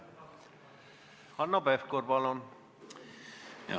Hanno Pevkur, palun!